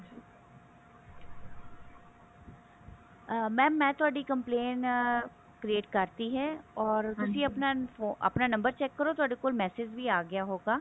ਅਮ mam ਮੈਂ ਤੁਹਾਡੀ complaint uh create ਕਰਤੀ ਹੈ or ਤੁਸੀਂ ਆਪਣਾ number check ਕਰੋ ਤੁਹਾਡੇ ਕੋਲ message ਵੀ ਆ ਗਿਆ ਹੋਊਗਾ